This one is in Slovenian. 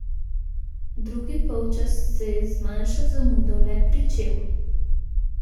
Drugi polčas se je z manjšo zamudo le pričel.